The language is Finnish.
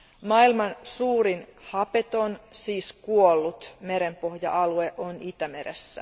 Maailman suurin hapeton siis kuollut merenpohja alue on Itämeressä.